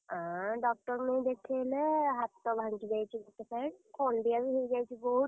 ଆଁ doctor ଙ୍କୁ ନେଇ ଦେଖେଇଲେ ହାତ ଭାଙ୍ଗି ଯାଇଛି ଗୋଟେ side ଖଣ୍ଡିଆ ବି ହେଇଯାଇଛି ବହୁତ୍।